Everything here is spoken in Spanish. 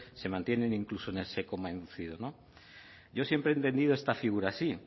se mantienen incluso en ese coma inducido yo siempre he entendido esta figura así